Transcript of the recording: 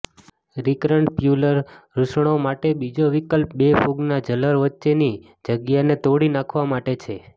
recurrent પ્યુલર રુશણો માટેનો બીજો વિકલ્પ બે ફૂગના જલર વચ્ચેની જગ્યાને તોડી નાખવા માટે છે